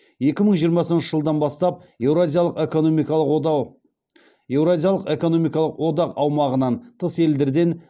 екі мың жиырмасыншы жылдан бастап еуразиялық экономикалық одақ аумағынан тыс елдерден